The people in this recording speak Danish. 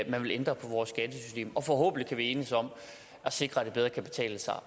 man vil ændre på vores skattesystem og forhåbentlig kan vi enes om at sikre at det bedre kan betale sig